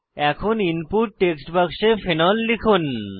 এখন input text বাক্সে phenol লিখুন